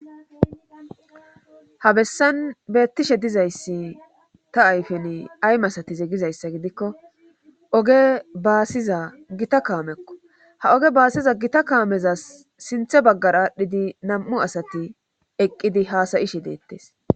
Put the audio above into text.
ha bessan beettishe dizayssi ta ayfen ay m asatize gizayssa gidikko oge baasiza gita kaamekko ha oge baasiza gita kaameza sinthe baggar aadhdhidi nam7u asati eqqidi haasayishe deettes